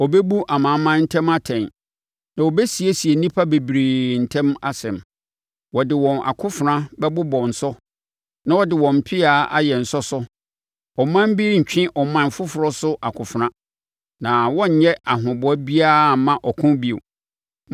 Ɔbɛbu amanaman ntam atɛn na ɔbɛsiesie nnipa bebree ntam asɛm; wɔde wɔn akofena bɛbobɔ nsɔ na wɔde wɔn mpea ayɛ nsɔsɔ. Ɔman bi rentwe ɔman foforɔ so akofena, na wɔrenyɛ ahoboa biara mma ɔko bio.